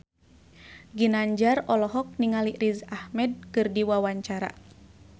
Ginanjar olohok ningali Riz Ahmed keur diwawancara